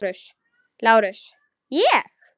LÁRUS: Ég?